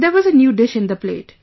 There was a new dish in the plate